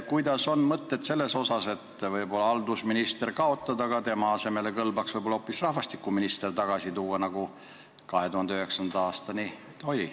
Mis te arvate, võib-olla võiks riigihalduse ministri koha kaotada ja selle asemel asutada uuesti rahvastikuministri koha, nagu see 2009. aastani oli?